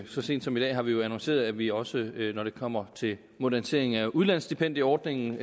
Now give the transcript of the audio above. så sent som i dag har vi jo annonceret at vi også vil til når det kommer til moderniseringen af udlandsstipendieordningen